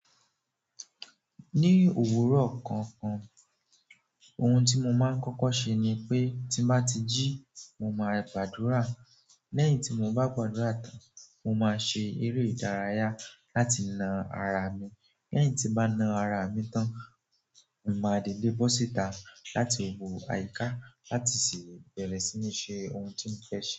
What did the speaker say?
Ní òwúrọ̀ kọ̀ọ̀kan, ohun tí mo máa ń kọ́kọ́ ṣe ni pé tí ń bá ti jí, mo máa gbàdúrà. Lẹ́yìn tí mo bá padura tán, mo máa ṣe eré ìdárayá láti na ara mi. Lẹ́yìn tí n bá na ara mi tán, n màá dìde bọ́ síta láti wo àyíká láti sì bẹ̀rẹ̀ sí ní ṣe ohun tí mo fẹ́ ṣe.